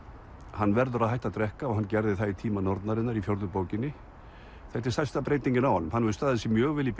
hann verður að hætta að drekka og hann gerði það í tíma nornarinnar í fjórðu bókinni þetta er stærsta breytingin á honum hann hefur staðið sig mjög vel í